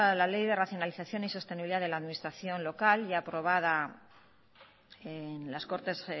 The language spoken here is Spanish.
la ley de racionalización y sostenibilidad de la administración local ya aprobada en las cortes